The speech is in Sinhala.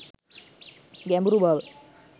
ගැඹුරු බව